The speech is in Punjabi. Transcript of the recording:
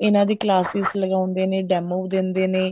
ਇਹਨਾ ਦੀ classes ਲਗਾਉਂਦੇ ਨੇ demo ਦਿੰਦੇ ਨੇ